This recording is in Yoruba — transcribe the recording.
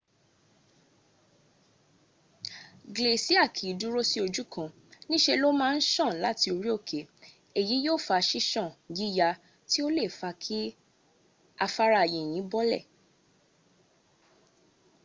glacier kì í dúró sí ojú kan níṣe ló máa ń sàn láti orí òkè. èyí yóò fa sísán yíya tí ó le è fa kí afárá yìnyín bolẹ̀